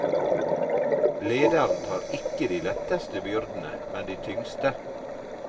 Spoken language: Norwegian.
Lederen tar ikke de letteste byrdene, men de tyngste.